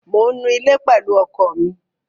Mò ń nu ilé pẹ̀lú ọkọ mi.